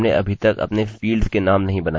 ठीक है! हमारे पास यहाँ एक मान्य है